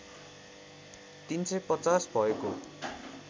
३५० भएको